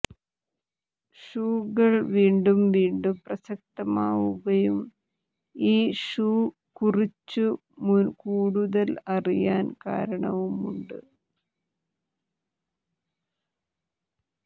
ഷൂകൾ വീണ്ടും വീണ്ടും പ്രസക്തമാവുകയും ഈ ഷൂ കുറിച്ചു കൂടുതൽ അറിയാൻ കാരണവുമുണ്ട്